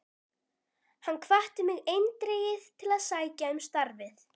Hann hvatti mig eindregið til að sækja um starfið.